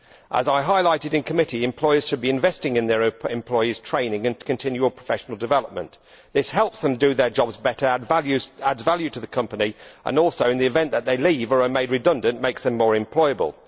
As I highlighted in committee, employers should be investing in their employees' training and continual professional development. This helps them to do their jobs better and adds value to the company and also, in the event that they leave or are made redundant, makes them more employable.